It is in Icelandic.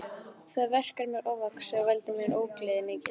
Það verk er mér ofvaxið og veldur mér ógleði mikilli.